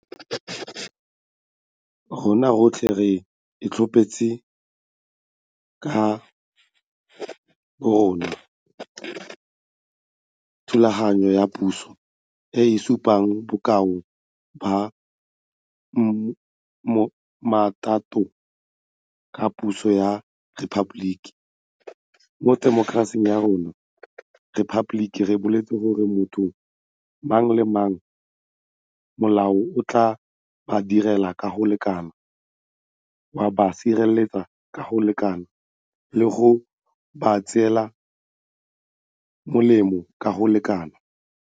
Rona rotlhe re itlhophetse ka borona thulaganyo ya puso e e supang bokao ba mmatota ba puso ya rephaboliki. Mo temokerasing ya rona ya rephaboliki re boletse gore motho mang le mang molao o tla ba direla ka go lekana, wa ba sireletsa ka go lekana le go ba tswela molemo ka go lekana.